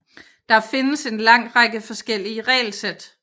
Der findes en lang række forskellige regelsæt